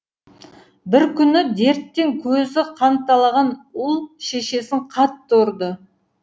бір күні дерттен көзі қанталаған ұл шешесін қатты ұрды